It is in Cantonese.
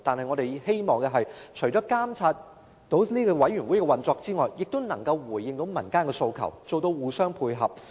我們身為立法會議員，除了監察委員會的運作外，亦應回應民間的訴求，互相配合。